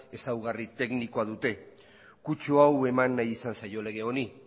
ezaugarri teknikoa dute kutsu hau eman nahi izan zaio lege honi